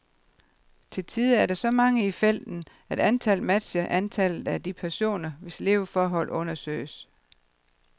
Til tider er der så mange i felten, at antallet matcher antallet af de personer hvis leveforhold undersøges.